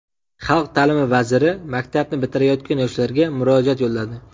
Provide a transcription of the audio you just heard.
Xalq ta’limi vaziri maktabni bitirayotgan yoshlarga murojaat yo‘lladi.